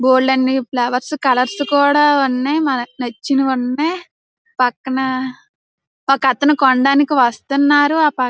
బోల్డన్ని flowers colours కూడా ఉన్నాయి. మనకు నచ్చినవి ఉన్నాయి. పక్కన ఒక్క అతను కొనడానికి వస్తున్నారు. ఆ పక్కన --